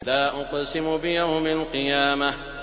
لَا أُقْسِمُ بِيَوْمِ الْقِيَامَةِ